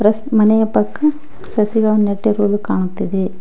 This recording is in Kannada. ಮನೆಯ ಪಕ್ಕ ಸಸಿಗಳು ನೆಟ್ಟಿರುವುದು ಕಾಣುತ್ತಿದೆ.